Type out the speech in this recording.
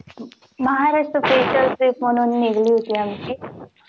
Maharashtra special म्हणून trip निघली होती आमची.